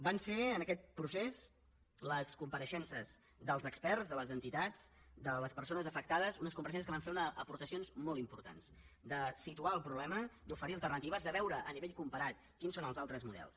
van ser en aquest procés les compareixences dels experts de les entitats de les persones afectades unes compareixences que van fer unes aportacions molt importants de situar el problema d’oferir alternatives de veure a nivell comparat quins són els altres models